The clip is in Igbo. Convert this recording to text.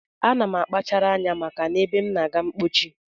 Ana m akpachara anya maka ebe m na-aga mkpochi